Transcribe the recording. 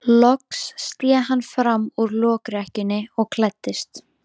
Loks sté hann fram úr lokrekkjunni og klæddist.